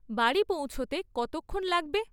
বাড়ি পৌঁছোতে কতক্ষন লাগবে?